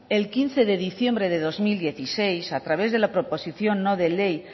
el quince de diciembre de dos mil dieciséis a través de la proposición no de ley